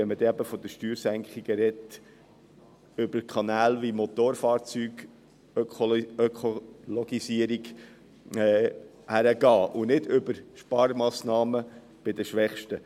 Wenn man von Steuersenkungen spricht, soll man diese über Kanäle wie die Ökologisierung der Motorfahrzeuge erreichen und nicht über Sparmassnahmen bei den Schwächsten.